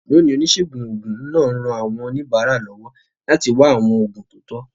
Lónìí, oníṣègùn òògùn náà ń ran àwọn oníbàárà lọ́wọ́ láti wá àwọn oògùn tó tọ́.